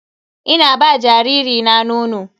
Ina ba jariri na nono.